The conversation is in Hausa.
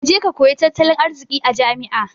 Kaje ka koyi tattalin arziki a jami'a